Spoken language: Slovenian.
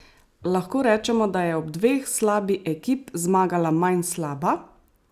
Lahko rečemo, da je od dveh slabi ekip zmagala manj slaba?